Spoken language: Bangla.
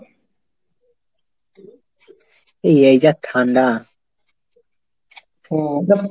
এই এই যা ঠান্ডা? হম